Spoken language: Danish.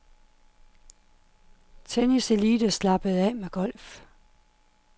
Tenniselite slappede af med golf.